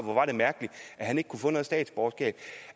hvor var det mærkeligt at han ikke kunne få et statsborgerskab